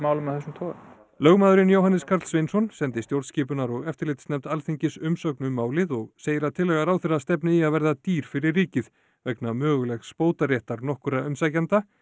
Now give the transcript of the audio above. málum af þessum toga lögmaðurinn Jóhannes Karl Sveinsson sendi stjórnskipunar og eftirlitsnefnd Alþingis umsögn um málið og segir að tillaga ráðherra stefni í að verða dýr fyrir ríkið vegna mögulegs bótaréttar nokkurra umsækjenda